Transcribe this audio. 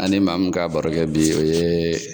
An ni maa mun ka barokɛ bi o ye